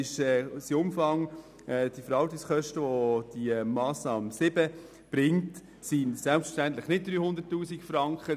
Der Umfang der zusätzlichen, aus den Schülertransporten entstehenden Verwaltungskosten beträgt selbstverständlich nicht 300 000 Franken.